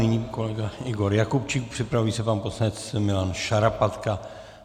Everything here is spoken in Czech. Nyní kolega Igor Jakubčík, připraví se pan poslanec Milan Šarapatka.